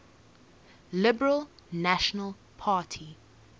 liberal national party